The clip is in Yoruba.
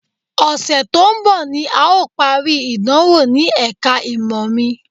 Ọ̀sẹ̀ tó ń bọ̀ ni à ó parí ìdánwò ní ẹ̀ka ìmọ̀ mi